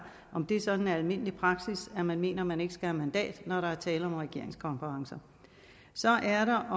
om det sådan er almindelig praksis at man mener man ikke skal have mandat når der er tale om regeringskonferencer så er der